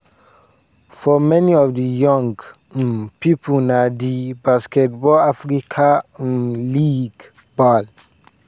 for many of di young um pipo na di basketball africa um league (bal)